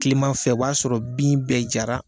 Kilimanfɛ o b'a sɔrɔ bin bɛɛ jara.